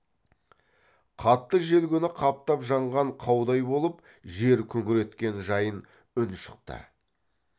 қатты жел күні қаптап жанған қаудай болып жер күңіренткен жайын үн шықты